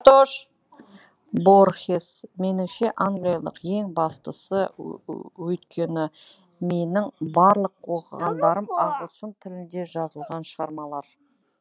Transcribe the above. борхес меніңше англиялық ең бастысы өйткені менің барлық оқығандарым ағылшын тілінде жазылған шығармалар